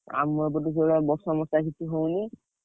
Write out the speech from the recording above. ଆମ ଏପଟରେ ବି ବର୍ଷା ମର୍ଶା କିଛି ହଉନି।